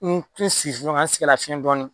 N te sigi ɲɔgɔn sigi ka n sɛgɛlafiyɛn dɔɔnin.